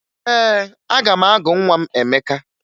Ee, aga m agụ nwa m Emeka